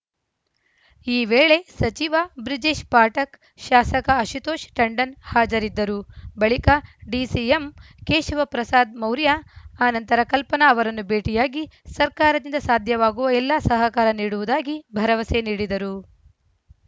ಈ ವೇಳೆ ಸಚಿವ ಬ್ರಿಜೇಷ್‌ ಪಾಠಕ್‌ ಶಾಸಕ ಆಶುತೋಷ್‌ ಟಂಡನ್‌ ಹಾಜರಿದ್ದರು ಬಳಿಕ ಡಿಸಿಎಂ ಕೇಶವಪ್ರಸಾದ್‌ ಮೌರ್ಯ ಆ ನಂತರ ಕಲ್ಪನಾ ಅವರನ್ನು ಭೇಟಿಯಾಗಿ ಸರ್ಕಾರದಿಂದ ಸಾಧ್ಯವಾಗುವ ಎಲ್ಲ ಸಹಕಾರ ನೀಡುವುದಾಗಿ ಭರವಸೆ ನೀಡಿದರು